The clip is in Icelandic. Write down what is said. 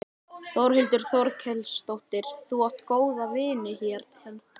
Þórhildur Þorkelsdóttir: Þú átt góða vini hérna?